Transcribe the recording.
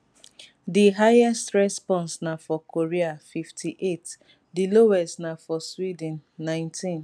di highest response na for korea 58 di lowest na for sweden 19